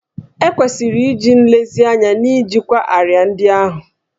E kwesịrị iji nlezianya na-ejikwa árịà ndị ahụ